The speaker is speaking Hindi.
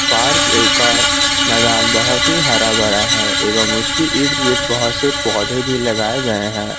पार्क का मैदान बहुत ही हरा भरा है एवं उसकी इर्द गिर्द बहुत से पौधे भी लगाए गए हैं।